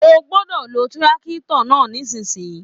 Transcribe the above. O gbọdọ lò tírákítọ̀ náà nisinyi!